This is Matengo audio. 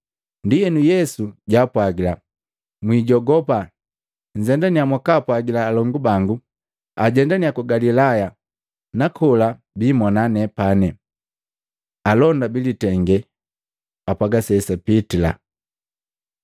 Ndienu Yesu jwaapwagila, “Mwiijogopa! Nzendania mwakaapwagila alongu bangu ajendania ku Galilaya nakola biimona nepani.” Alonda bilitenge apwaga sesapitila